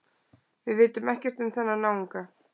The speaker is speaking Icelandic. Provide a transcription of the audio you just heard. Við vitum ekkert um þennan náunga